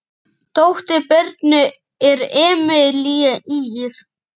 Dóttir Birnu er Emelía Ýr.